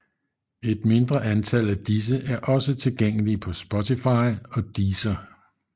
Et mindre antal af disse er også tilgængelige på Spotify og Deezer